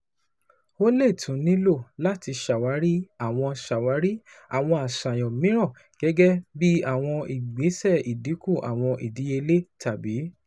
O le tun nilo lati ṣawari awọn ṣawari awọn aṣayan miiran, gẹgẹbi awọn igbesẹ idinku awọn idiyele tabi